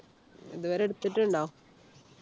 ഇതുവരെ എടുത്തിട്ടുണ്ടോ